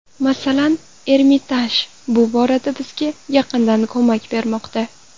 Masalan, Ermitaj bu borada bizga yaqindan ko‘mak bermoqda.